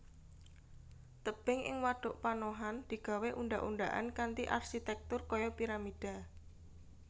Tebing ing wadhuk panohan digawé undhak undhakan kanthi arsitèktur kaya piramida